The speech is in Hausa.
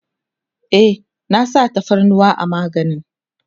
e an sa tafarnuwa a maganin